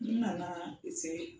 N nana ze in